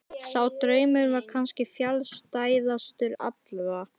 Sá draumur var kannski fjarstæðastur allra.